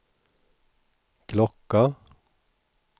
klocka